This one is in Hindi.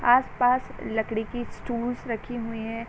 आसपास लकड़ी की स्टूल्स रखी हुई हैं।